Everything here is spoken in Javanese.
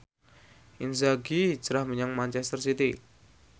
Inzaghi hijrah menyang manchester city